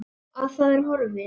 Að það er horfið!